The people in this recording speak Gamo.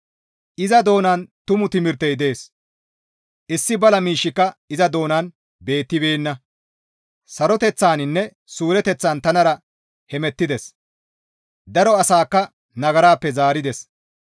Iza doonan tumu timirtey dees; issi bala miishshika iza doonan beettibeenna; saroteththaninne suureteththan tanara hemettides; daro asaakka nagarappe zaarides.